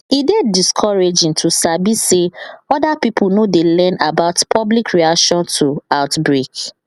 e dey discouraging to sabi say other pipo no dey learn about public reaction to outbreak